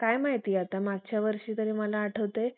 काय माहिती आता मागच्या वर्षी तरी मला आठवतंय